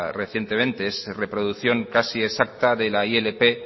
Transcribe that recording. recientemente es reproducción casi exacta de la ilp